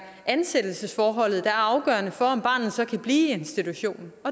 ansættelsesforholdet der er afgørende for om barnet så kan blive i institutionen og